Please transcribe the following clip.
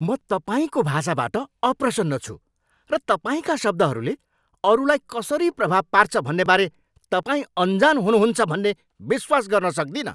म तपाईँको भाषाबाट अप्रसन्न छु र तपाईँका शब्दहरूले अरूलाई कसरी प्रभाव पार्छ भन्नेबारे तपाईँ अनजान हुनुहुन्छ भन्ने विश्वास गर्न सक्दिनँ।